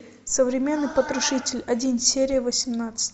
современный потрошитель один серия восемнадцать